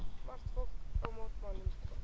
Margt fólk á mótmælum